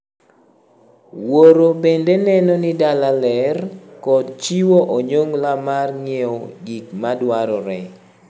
Wuoro bende neno ni dala ler, kod chiwo onyongla mar ng'iewo gik ma dwarore.